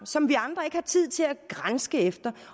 som vi andre ikke har tid til at granske i